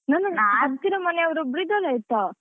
ನಂದೊಂದು ಹತ್ತಿರ ಮನೆಯವರು ಒಬ್ರು ಇದ್ದರಾಯ್ತಾ.